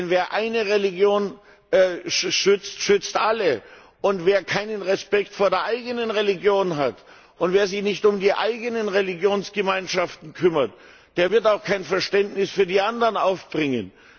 Denn wer eine Religion schützt, schützt alle, und wer keinen Respekt vor der eigenen Religion hat und sich nicht um die eigenen Religionsgemeinschaften kümmert, der wird auch kein Verständnis für die anderen aufbringen.